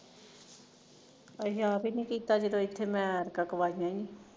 ਅਸੀਂ ਆਪ ਹੀ ਨੀ ਕੀਤਾ ਜਦੋਂ ਇੱਥੇ ਮੈਂ ਐਤਕਾ ਕਵਾਈਆ ਸੀ